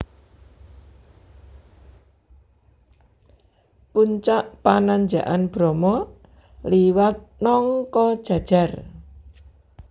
Puncak Pananjakan Bromo liwat Nongkojajar